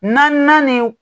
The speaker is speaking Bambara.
Naaninan ni